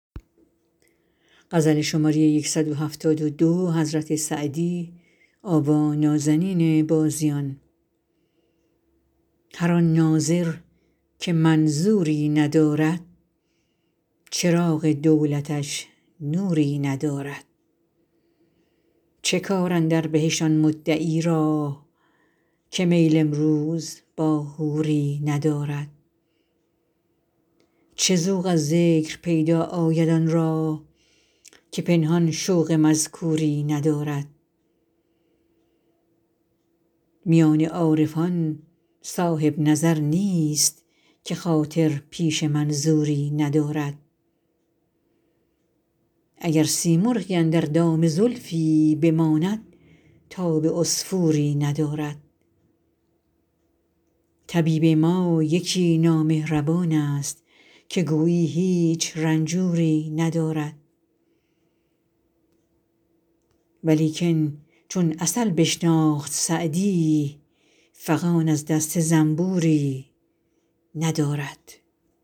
هر آن ناظر که منظوری ندارد چراغ دولتش نوری ندارد چه کار اندر بهشت آن مدعی را که میل امروز با حوری ندارد چه ذوق از ذکر پیدا آید آن را که پنهان شوق مذکوری ندارد میان عارفان صاحب نظر نیست که خاطر پیش منظوری ندارد اگر سیمرغی اندر دام زلفی بماند تاب عصفوری ندارد طبیب ما یکی نامهربان ست که گویی هیچ رنجوری ندارد ولیکن چون عسل بشناخت سعدی فغان از دست زنبوری ندارد